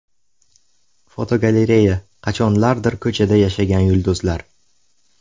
Fotogalereya: Qachonlardir ko‘chada yashagan yulduzlar.